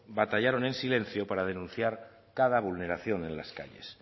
batallaron en silencio para denunciar cada vulneración en las calles